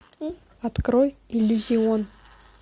открой иллюзион